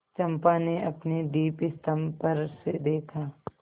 चंपा ने अपने दीपस्तंभ पर से देखा